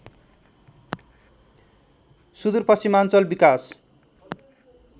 सूदुर पश्चिमाञ्चल विकास